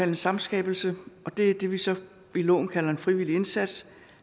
en samskabelse og det er det vi så i loven kalder en frivillig indsats